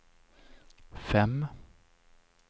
fem